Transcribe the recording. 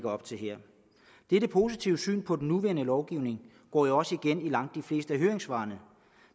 op til her dette positive syn på den nuværende lovgivning går jo også igen i langt de fleste af høringssvarene